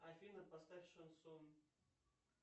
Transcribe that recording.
афина поставь шансон